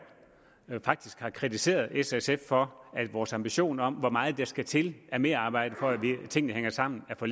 faktisk har kritiseret s og sf for at vores ambition om hvor meget der skal til af merarbejde for at tingene hænger sammen er for